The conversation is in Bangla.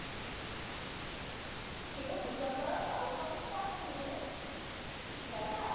সেটা দূষণ বাড়ার কারণ অবশ্য আমরা নিজেরাই তাই না?